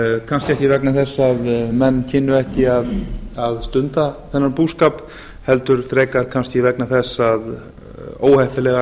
kannski ekki vegna þess að menn kynnu ekki að stunda þennan búskap heldur frekar kannski vegna þess að óheppilegar